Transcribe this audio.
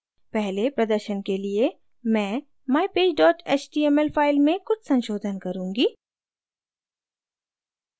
पहले प्रदर्शन के लिए मैं mypage html फाइल में कुछ संशोधन करुँगी